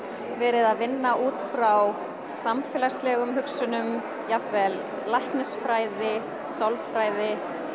verið að vinna út frá samfélagslegum hugsunum jafnvel læknisfræði sálfræði